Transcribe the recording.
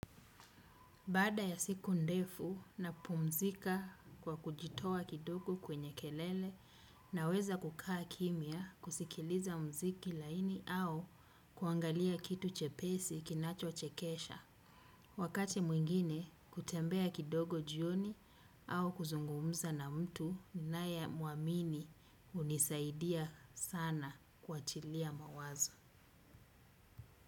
Baada ya siku ndefu napumzika kwa kujitoa kidogo kwenye kelele, naweza kukaa kimya, kusikiliza muziki laini au kuangalia kitu chepesi kinachochekesha. Wakati mwingine kutembea kidogo jioni au kuzungumza na mtu ninayemwamini hunisaidia sana kuachilia mawazo.